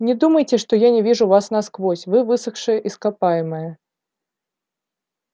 не думайте что я не вижу вас насквозь вы высохшее ископаемое